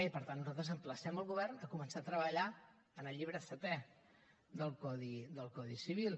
i per tant nosaltres emplacem el govern a començar a treballar en el llibre setè del codi civil